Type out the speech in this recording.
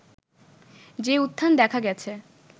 যে উত্থান দেখা গেছে